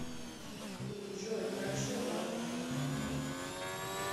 джой хорошо ладно